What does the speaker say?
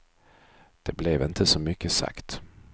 Det blev inte så mycket sagt.